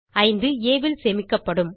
5 ஆ ல் சேமிக்கப்படும்